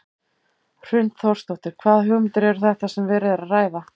Hrund Þórsdóttir: Hvaða hugmyndir eru þetta sem verið er að ræða?